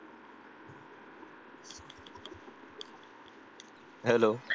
hello